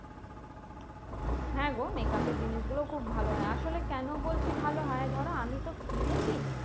হ্যাঁ গো makeup এর জিনিসগুলো খুব ভালো হয়। আসলে কেন বলছি ভালো হয়? ধরো আমিতো কিনেছি।